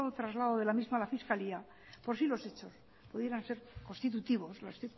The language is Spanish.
traslado de la misma a la fiscalía por si los hechos pudieran ser constitutivos los